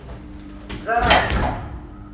зарайск